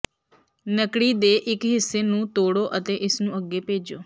ਨੱਕੜੀ ਦੇ ਇੱਕ ਹਿੱਸੇ ਨੂੰ ਤੋੜੋ ਅਤੇ ਇਸਨੂੰ ਅੱਗੇ ਭੇਜੋ